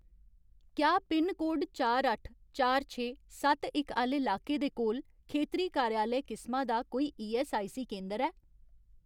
क्या पिनकोड चार अट्ठ, चार छे, सत्त इक आह्‌ले लाके दे कोल खेतरी कार्यालय किसमा दा कोई ईऐस्सआईसी केंदर ऐ ?